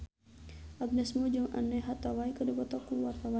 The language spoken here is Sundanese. Agnes Mo jeung Anne Hathaway keur dipoto ku wartawan